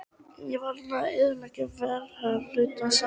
Ég varð enn að eyðileggja verulegan hluta framleiðslu minnar.